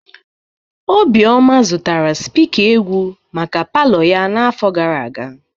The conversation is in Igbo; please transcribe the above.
Obioma zụtara spika egwu maka palọ ya n'afọ gara aga.